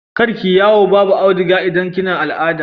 kar kike yawo Babu audiga idan kina al'ada